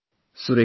Thank you sir